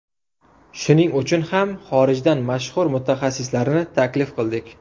Shuning uchun ham xorijdan mashhur mutaxassislarni taklif qildik.